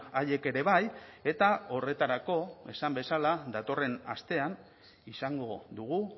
haiek ere bai eta horretarako esan bezala datorren astean izango dugu